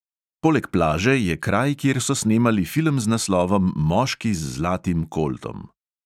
Poleg plaže je kraj, kjer so snemali film z naslovom moški z zlatim koltom.